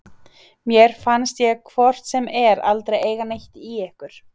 Mér fannst ég hvort sem er aldrei eiga neitt í ykkur.